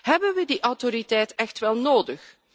Hebben we die autoriteit echt wel nodig?